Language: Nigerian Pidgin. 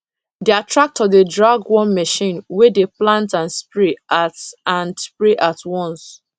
their tractor dey drag one machine wey dey plant and spray at and spray at once